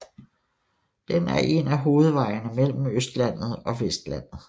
Den er en af hovedvejene mellem Østlandet og Vestlandet